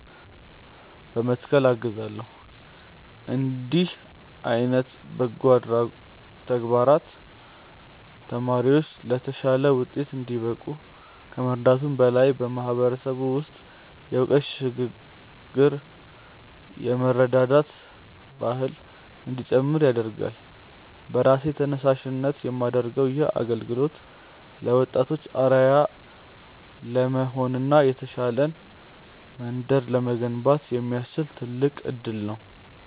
በመትከል አግዛለው። እንዲህ ዓይነት በጎ ተግባራት ተማሪዎች ለተሻለ ውጤት እንዲበቁ ከመርዳቱም በላይ፣ በማህበረሰቡ ውስጥ የእውቀት ሽግ ግርና የመረዳዳት ባህል እንዲጨምር ያደርጋል። በራሴ ተነሳሽነት የማደርገው ይህ አገልግሎት ለወጣቶች አርአያ ለመሆንና የተሻለች መንደርን ለመገንባት የሚያስችል ትልቅ እድል ነው።